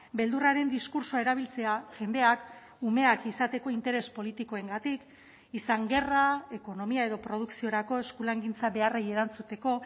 beldurraren diskurtsoa erabiltzea jendeak umeak izateko interes politikoengatik izan gerra ekonomia edo produkziorako eskulangintza beharrei erantzuteko